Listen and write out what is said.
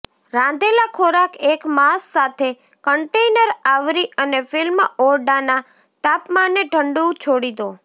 રાંધેલા ખોરાક એક માસ સાથે કન્ટેનર આવરી અને ફિલ્મ ઓરડાના તાપમાને ઠંડુ છોડી દો